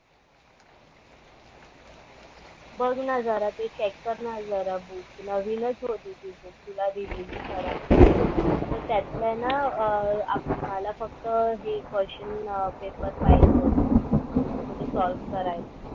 बघ ना जरा ते चेक कर ना जरा बुक नवीनच होती. ती बुक तुला दिलेली सरांनी, तर त्यातला आहे ना अं मला फक्त हे क्वेश्चन पेपर पाहिजे होती म्हणजे सॉल्व्ह करायला.